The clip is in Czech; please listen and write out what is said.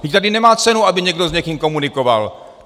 Vždyť tady nemá cenu, aby někdo s někým komunikoval.